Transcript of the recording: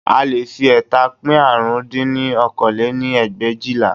A leè fi ẹẹ́ta pín árún dín ní okòó lé-ní ẹgbẹ̀éjìlá